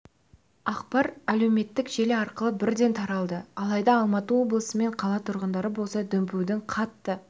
ақпар әлеуметтік желі арқылы бірден таралды алайда алматы облысы мен қала тұрғындары болса дүмпудің қатты